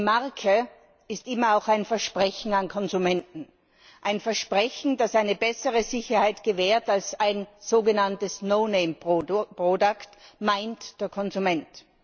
Eine Marke ist immer auch ein Versprechen an Konsumenten ein Versprechen, das eine bessere Sicherheit gewährt als ein sogenanntes No Name Produkt, meint der Konsument.